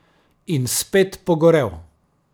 In spet pogorel.